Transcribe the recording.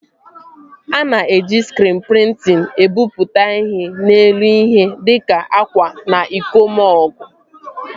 A na-eji skriin prịntịn ebipụta ihe n'elu ihe dịka akwa na iko mọgụ